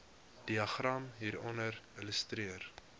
diagram hieronder illustreer